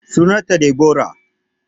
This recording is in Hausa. Sunan ta Deborah